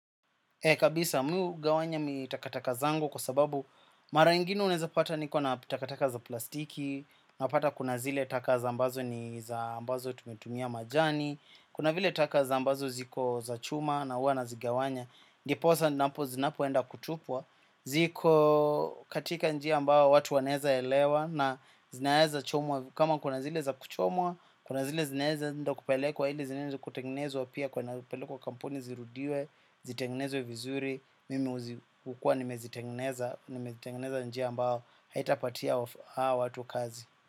Ee kabisa, mi ugawanya mitakataka zangu kwa sababu mara ingine unaezapata niko na pitakataka za plastiki, napata kuna zile taka za ambazo ni za ambazo tumetumia majani, kuna vile taka za ambazo ziko za chuma na uwa nazigawanya. Ndiposa ninapo zinapoenda kutupwa. Ziko katika njia ambao watu wanaeza elewa na zinaeza chomwa. Kama kuna zile za kuchomwa, kuna zile zinaeza ndio kupelekwa hile zinaeza kutengenezwa pia kunapelekwa kampuni zirudiwe, zitegnezwe vizuri, mimi ukuwa nimezitengeneza nimetengeneza njia ambao haitapatia hao watu kazi.